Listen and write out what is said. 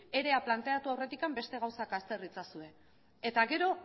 ere planteatu aurretik beste gauza azter itzazue eta gero